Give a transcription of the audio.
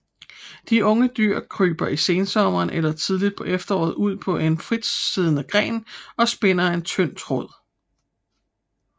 De unge dyr kryber i sensommeren eller tidligt på efteråret ud på en fritsiddende gren og spinder en tynd tråd